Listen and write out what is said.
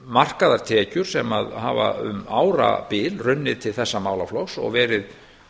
markaðar tekjur sem að hafa um árabil runnið til þessa málaflokks og verið